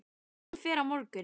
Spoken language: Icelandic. Hann fer á morgun.